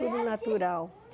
Tudo natural.